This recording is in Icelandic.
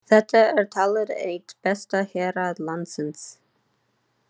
Þetta er talið eitt besta hérað landsins.